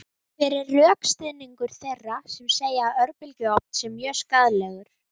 Sex bátar annast rallið